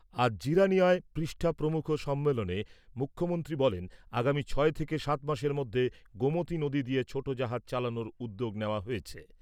আজ জিরানিয়ায় পৃষ্ঠা প্রমুখ সম্মেলনে মুখ্যমন্ত্রী বলেন, আগামী ছয় থেকে সাত মাসের মধ্যে গোমতি নদী দিয়ে ছোট জাহাজ চালানোর উদ্যোগ নেওয়া হয়েছে।